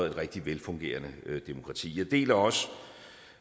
et rigtig velfungerende demokrati jeg deler også